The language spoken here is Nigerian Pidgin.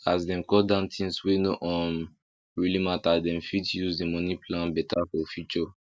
as dem cut down things wey no um really matter dem fit use the money plan better for future